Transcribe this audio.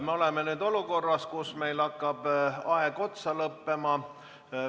Me oleme nüüd olukorras, kus meil hakkab aeg otsa lõppema.